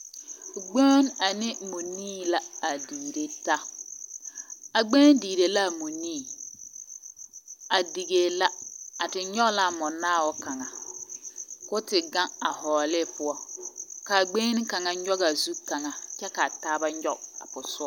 Gbeŋini ane mͻnii la digire taa. A gbeŋini digire la a mͻnii, a digiree la, a te nyͻge la a mͻnaao kaŋa ko omte gaŋ a vͻͻle ne poͻ, ka a gbeŋini kaŋa nyͻge a zu kaŋa kyԑ ka a taaba nyͻge a posogͻ